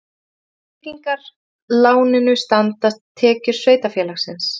Til tryggingar láninu standa tekjur sveitarfélagsins